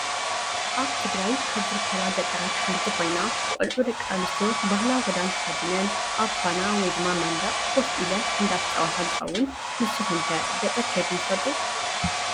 ኣብ ትግራይ ካብ ዝርከባ ገጠራት ሓንቲ ኮይና ቆልዑ ደቂ ኣንስትዮ ባህላዊ ክዳን ተከዲነን ኣብ ኳና /መንደቅ/ ኮፍ ኢለን አንዳተፃወታ እንትከውን ንስኩም ከ ገጠር ከድኩም ትፈልጡ ዶ ?